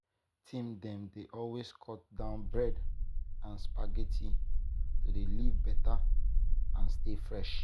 teen dem dey always cut down bread and spaghetti to dey live beta and stay fresh.